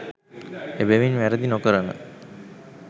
එබැවින් වැරැදි නොකරන